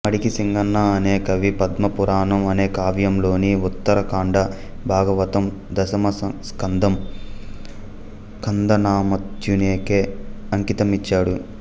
మడికి సింగన అనే కవి పద్మ పురాణం అనే కావ్యంలోని ఉత్తర కాండ భాగవతం దశమ స్కందం కందనామాత్యునికే అంకితమిచ్చాడు